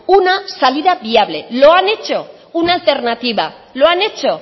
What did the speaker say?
una salida viable lo han hecho una alternativa lo han hecho